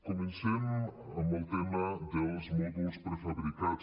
comencem amb el tema dels mòduls prefabricats